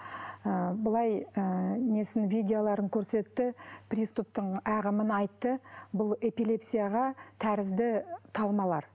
ы былай ы несін видеоларын көрсетті приступтың ағымын айтты бұл эпилепсияға тәрізді талмалар